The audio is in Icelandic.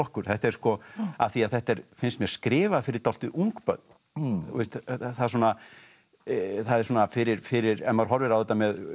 af því þetta er finnst mér skrifað fyrir dálítið ung börn það er svona er svona fyrir fyrir ef maður horfir á þetta með